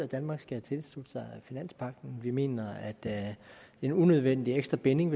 danmark skal tilslutte sig finanspagten vi mener at det er en unødvendig ekstra binding at